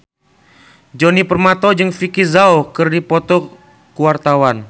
Djoni Permato jeung Vicki Zao keur dipoto ku wartawan